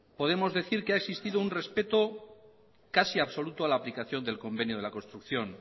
podemos decir que ha existido un respeto casi absoluto a la aplicación del convenio de la construcción